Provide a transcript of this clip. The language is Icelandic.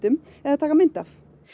eða taka mynd af